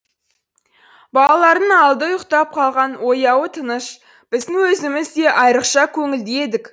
балалардың алды ұйықтап қалған ояуы тыныш біздің өзіміз де айрықша көңілді едік